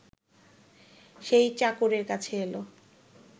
সেই চাকরের কাছে এল